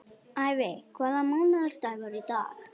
Ævi, hvaða mánaðardagur er í dag?